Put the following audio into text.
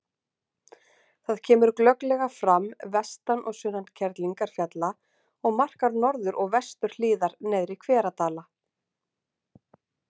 Það kemur glögglega fram vestan og sunnan Kerlingarfjalla og markar norður- og vesturhliðar Neðri-Hveradala.